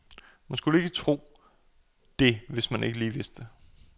Man skulle ikke lige tro det, hvis man ikke lige vidste det.